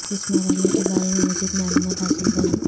اس مرحلے کے بارے میں مزید معلومات حاصل کریں